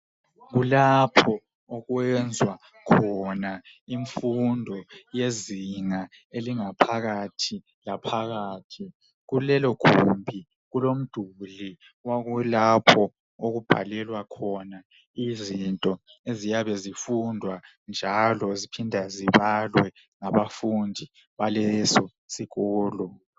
Kulapho okwenzwa khona imfundo yezinga elingaphakathi laphakathi ,kulelo gumbi kulomduli okulapho okubhalela khona izinto eziyabe zifundwa njalo ziphindwe zibalwe ngabafundi beleso sikolo.